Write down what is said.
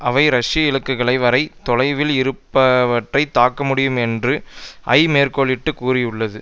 அவை ரஷ்யா இலக்குகளை வரை தொலைவில் இருப்பவற்றை தாக்க முடியும் என்று ஐ மேற்கோளிட்டு கூறியுள்ளது